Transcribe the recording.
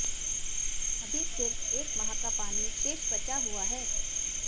अभी सिर्फ एक माह का पानी शेष बचा हुआ है